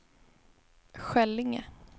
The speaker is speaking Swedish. Skällinge